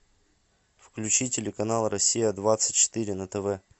включи телеканал россия двадцать четыре на тв